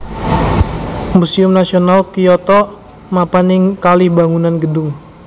Museum Nasional Kyoto mapan ing kalih bangunan gedung